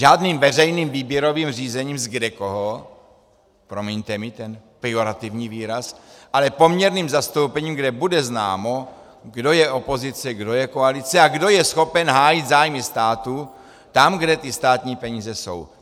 Žádným veřejným výběrovým řešením z kdekoho - promiňte mi ten pejorativní výraz - ale poměrným zastoupením, kde bude známo, kdo je opozice, kdo je koalice a kdo je schopen hájit zájmy státu tam, kde ty státní peníze jsou.